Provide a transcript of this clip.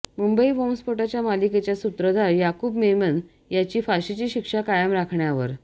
मुंबई बॉम्बस्फोटाच्या मालिकेचा सूत्रधार याकूब मेमन याची फााशीची शिक्षा कायम राखण्यावर